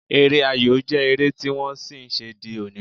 Eré ayò jẹ́ eré tí wọ́n ṣì ń ṣe di òní